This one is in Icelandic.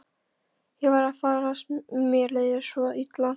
Ég var að farast, mér leið svo illa.